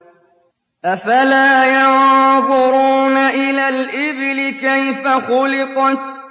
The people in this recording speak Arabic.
أَفَلَا يَنظُرُونَ إِلَى الْإِبِلِ كَيْفَ خُلِقَتْ